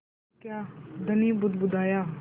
तो क्या धनी बुदबुदाया